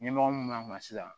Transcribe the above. Ɲɛmɔgɔ min b'a kan sisan